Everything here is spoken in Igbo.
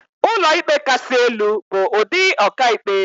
Ụlọikpe Kasị Elu bụ ụdị ọkàikpe.